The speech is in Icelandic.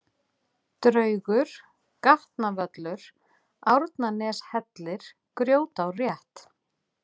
Draugur, Gatnavöllur, Árnaneshellir, Grjótárrétt